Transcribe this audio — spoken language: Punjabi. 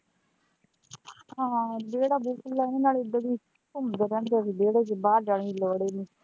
ਹਾਂ ਵਿਹੜਾ ਵੀ ਖੁੱਲਾ ਨਾਲੇ ਉਦਾਂ ਵੀ ਘੁੰਮਦੇ ਰਹਿੰਦੇ ਅਸੀਂ ਵਿਹੜੇ ਚ ਬਾਹਰ ਜਾਣੇ ਦੀ ਲੋੜ ਹੀ ਨਹੀਂ.